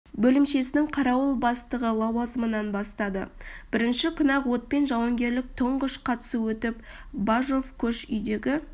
бөлімшесінің қарауыл бастығы лауазымынан бастады бірінші күні-ақ отпен жауынгерлік тұңғыш қатысу өтіп бажов көш үйдегі